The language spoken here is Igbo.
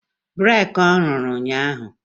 breeki ọ rụrụ ụnyahụ?